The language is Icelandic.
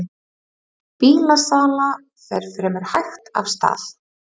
Bílasala fer fremur hægt af stað